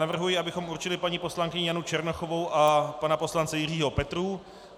Navrhuji, abychom určili paní poslankyni Janu Černochovou a pana poslance Jiřího Petrů.